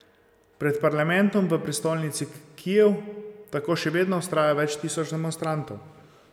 Pred parlamentom v prestolnici Kijev tako še vedno vztraja več tisoč demonstrantov.